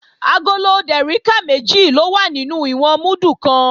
Agolo dèríkà méjì ló wà nínú ìwọ̀n múdù kan